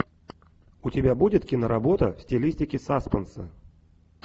у тебя будет киноработа в стилистике саспенса